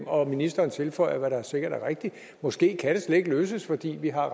og ministeren tilføjer hvad der sikkert er rigtigt at måske kan det slet ikke løses fordi vi har